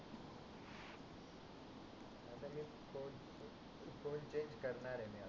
phone change करणार आहे मी आता